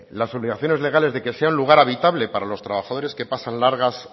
las obligaciones legales de que sea un lugar habitable para los trabajadores que pasan largas